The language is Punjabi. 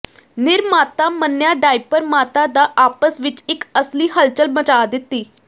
ਨਿਰਮਾਤਾ ਮੰਨਿਆ ਡਾਇਪਰ ਮਾਤਾ ਦਾ ਆਪਸ ਵਿੱਚ ਇੱਕ ਅਸਲੀ ਹਲਚਲ ਮਚਾ ਦਿੱਤੀ